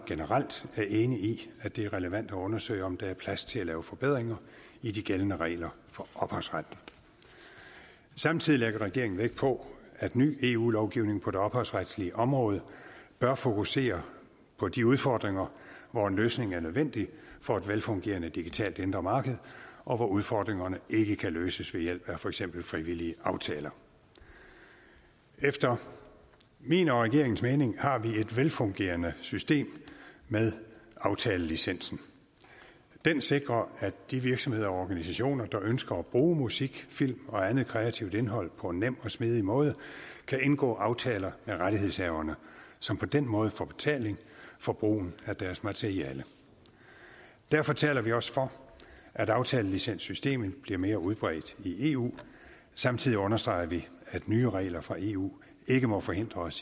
generelt er enig i at det er relevant at undersøge om der er plads til at lave forbedringer i de gældende regler for ophavsret samtidig lægger regeringen vægt på at ny eu lovgivning på det ophavsretslige område bør fokusere på de udfordringer hvor en løsning er nødvendig for et velfungerende digitalt indre marked og hvor udfordringerne ikke kan løses ved hjælp af for eksempel frivillige aftaler efter min og regeringens mening har vi et velfungerende system med aftalelicensen den sikrer at de virksomheder og organisationer der ønsker at bruge musik film og andet kreativt indhold på en nem og smidig måde kan indgå aftaler med rettighedshaverne som på den måde får betaling for brugen af deres materiale derfor taler vi også for at aftalelicenssystemet bliver mere udbredt i eu samtidig understreger vi at nye regler fra eu ikke må forhindre os